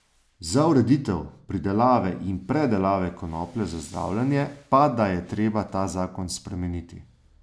Za ureditev pridelave in predelave konoplje za zdravljenje pa da je treba ta zakon spremeniti.